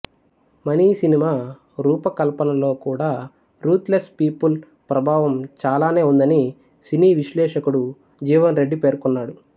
money సినిమా రూపకల్పనలో కూడా రూత్ లెస్ పీపుల్ ప్రభావం చాలానే ఉందని సినీ విశ్లేషకుడు జీవన్ రెడ్డి పేర్కొన్నాడు